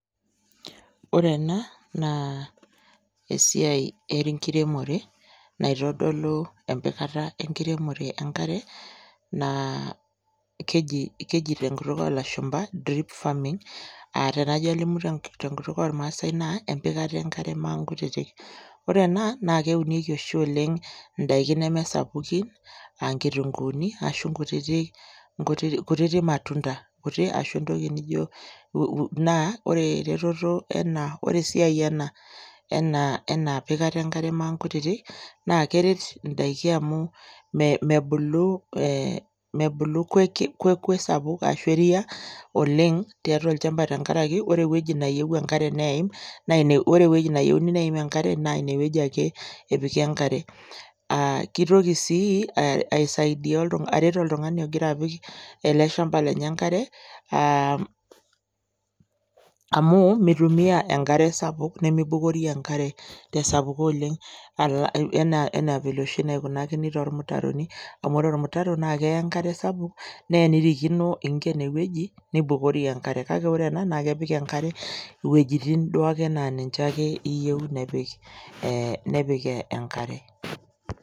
Ore ene naa esiai enkiremore naitodolu empikata enkiremore enkare naa keji keji te nkutuk oo lashumba drip farming aa tenajo alimu te tenkutuk ormaasai naa empikata enkare maankutitik. Ore ena naake eunieki oshi oleng' ndaikin neme sapukin aa nkitunguuni ashu nkutitik nkutitik kutitik matunda nkuti ashu entoki nijo um naa ore eretoto ena ore esiai ena ena ena pikata enkare maankutitik naa keret indaiki amu mebulu ee mebulu kwekwe sapuk ashu eria oleng' tiatua olchamba tenkaraki ore ewueji nayeu enkare neim naa ine ore ewueji nayeuni enkare naa ine wueji ake epiki enkare. Aa kitoki sii aisaidia oltung'a aret oltung'ani ogira apik ele shamba lenye enkare aa amu mitumia enkare sapuk nemibukori enkare te sapuko oleng' enaa vile oshi naikunakini tormutaroni amu ore omutaro naake eya enkare sapuk nee enirikino iing'en ewueji nibukori enkare kake ore ena naake epik enkare iwojitin duake naa ninje ake iyeu nepik ee nepik enkare.